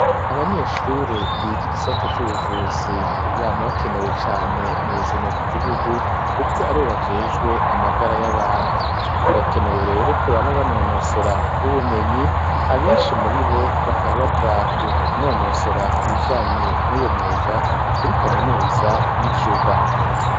Abanyeshure biga igisata c'ubuvuzi bama bakenewe cane mu buzima bw'igihugu kuko ari bo bajejwe amagara y'abantu birakenewe rero ko bama banonosora ubumenyi abenshi muri bo bakaba baja kunonosora ibijanye n'ubo mwuga kuri kaminuza y'icuba.